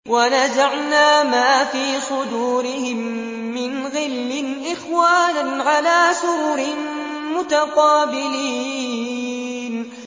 وَنَزَعْنَا مَا فِي صُدُورِهِم مِّنْ غِلٍّ إِخْوَانًا عَلَىٰ سُرُرٍ مُّتَقَابِلِينَ